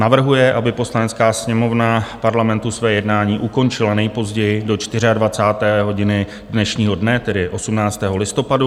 navrhuje, aby Poslanecká sněmovna Parlamentu své jednání ukončila nejpozději do 24. hodiny dnešního dne, tedy 18. listopadu;